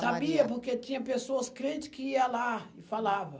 Maria? Sabia, porque tinha pessoas crentes que ia lá e falava.